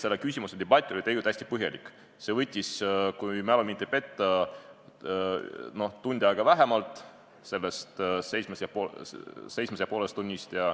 Selle küsimuse debatt oli aga tegelikult hästi põhjalik, see võttis – kui mu mälu mind ei peta – sellest kuuest ja poolest tunnist vähemalt tund aega.